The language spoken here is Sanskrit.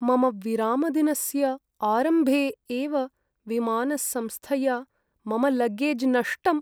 मम विरामदिनस्य आरम्भे एव विमानसंस्थया मम लगेज् नष्टम्।